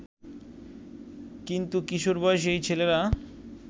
কিন্তু কিশোর বয়সী এই ছেলেরা